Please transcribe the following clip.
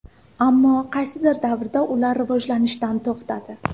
Ammo qaysidir davrda ular rivojlanishdan to‘xtadi.